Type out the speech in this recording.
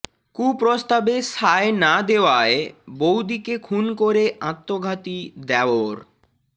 কুপ্রস্তাবে সায় না দেওয়ায় বউদিকে খুন করে আত্মঘাতী দেওর